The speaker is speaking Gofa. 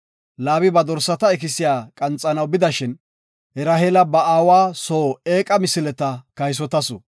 Laabi ba dorsata ikisiya qanxanaw bidashin, Raheela ba aawa soo eeqa misileta kaysotasu.